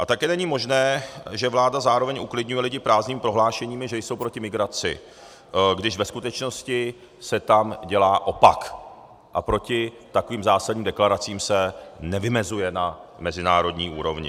A také není možné, že vláda zároveň uklidňuje lidi prázdnými prohlášeními, že jsou proti migraci, když ve skutečnosti se tam dělá opak a proti takovým zásadním deklaracím se nevymezuje na mezinárodní úrovni.